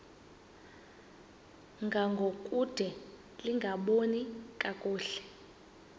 ngangokude lingaboni kakuhle